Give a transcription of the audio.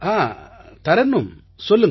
ஆ தரன்னும் சொல்லுங்கள்